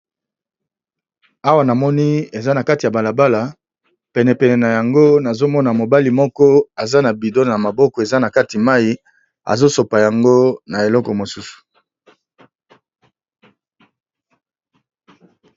Awa namoni eza na kati ya bala bala, pene pene na yango nazo mona mobali moko aza na bidon na maboko eza na kati mayi azo sopa yango na eloko mosusu.